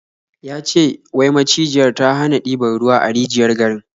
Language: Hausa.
Ya ce wai macijiyar ta hana diban ruwa a rijiyar garin.